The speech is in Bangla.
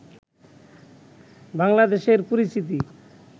বাংলাদেশের পরিচিতি